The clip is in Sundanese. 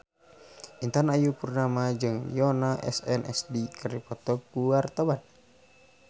Intan Ayu Purnama jeung Yoona SNSD keur dipoto ku wartawan